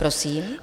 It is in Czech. Prosím.